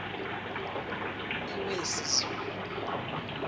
iwesizulu